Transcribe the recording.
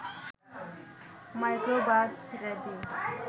microbus ready